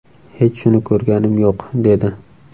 Hech shuni ko‘rganim yo‘q...”, dedi .